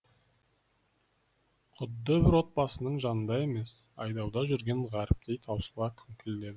құдды бір отбасының жанында емес айдауда жүрген ғаріптей таусыла күңкілдеді